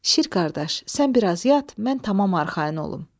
Şir qardaş, sən biraz yat, mən tamam arxayın olum.